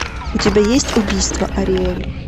у тебя есть убийство ариэль